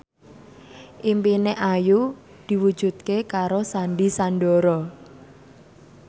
impine Ayu diwujudke karo Sandy Sandoro